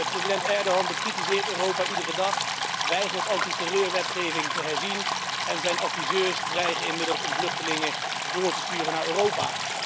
President Erdogan bekritiseert Europa iedere dag, hij weigert antiterreurwetgeving te herzien en zijn adviseurs dreigen inmiddels om vluchtelingen door te sturen naar Europa.